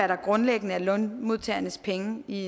der grundlæggende er lønmodtagernes penge i